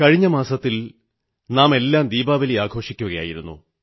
കഴിഞ്ഞ മാസത്തിൽ നാമെല്ലാം ദീപാവലി ആഘോഷിക്കുകയായിരുന്നു